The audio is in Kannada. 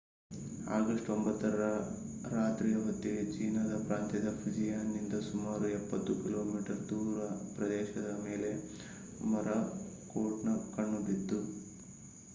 ಆಗಸ್ಟ್ 9 ರ ರಾತ್ರಿಯ ಹೊತ್ತಿಗೆ ಚೀನಾದ ಪ್ರಾಂತ್ಯದ ಫುಜಿಯಾನ್‌ನಿಂದ ಸುಮಾರು ಎಪ್ಪತ್ತು ಕಿಲೋಮೀಟರ್ ದೂರ ಪ್ರದೇಶದ ಮೇಲೆ ಮೊರಾಕೋಟ್‌ನ ಕಣ್ಣು ಬಿತ್ತು